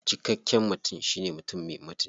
Cikakken mutum shine mutum me mutunci.